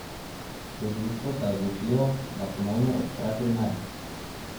Tožilstvo se je odločilo, da ponovno odpre primer.